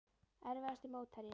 Erfiðasti mótherji?